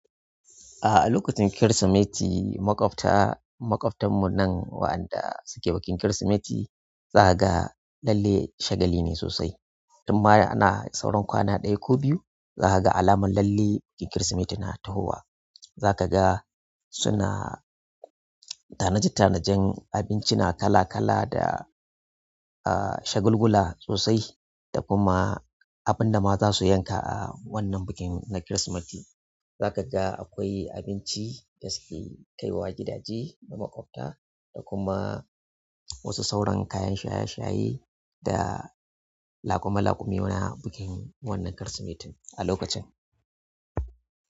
A'a, a lokacin Kirsimeti maƙwabta, maƙwabtan mu nan wa'anda suke bikin Kirsimeti za ka ga lalle shagali ne sosai. Tun baya ana sauran kwana ɗaya ko biyu za ka ga alamar lalle bikin Kirsimeti na tahowa. Za ka ga suna tanade tanadan abinci na kala kala da, uh, shagulgula sosai da kuma abin da ma za su yanka a wannan bikin na Kirsimeti. Za ka ga akwai abinci da suke kaiwa gidaje na maƙwabta da kuma wasu sauran kayan shaye-shaye da laƙume laƙume na bikin wannan Kirsimetin a lokacin.